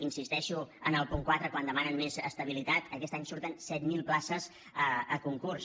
insisteixo en el punt quatre quan demanen més estabilitat aquest any surten set mil places a concurs